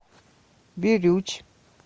бирюч